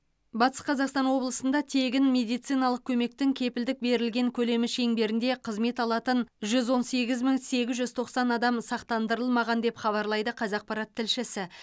батыс қазақстан облысында тегін медициналық көмектің кепілдік берілген көлемі шеңберінде қызмет алатын жүз он сегіз мың сегіз жүз тоқсан адам сақтандырылмаған деп хабарлайды қазақпарат тілшісі